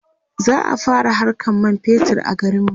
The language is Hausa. za'a fara Hakan man fetur a garinmu